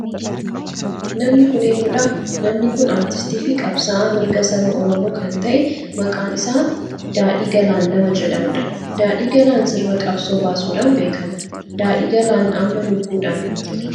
Namni kun eenyudha? Namni kun aartiistii fi qabsa'aa mirga saba oromoo kan ta'e maqaan isaa daadhii Galaan nama jedhamudha. Daadhiin Galaan sirba qabsoo baasudhan beekama. Daadhiin Galaan amma lubbuudhan hin jiru.